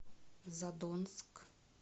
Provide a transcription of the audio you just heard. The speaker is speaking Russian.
задонск